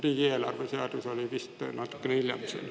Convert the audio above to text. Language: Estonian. Riigieelarve seadus vist natukene hiljem.